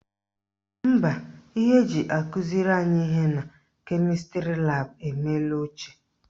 Mba, ihe eji akụziri anyị ihe na kemịstrị laabụ emela ochie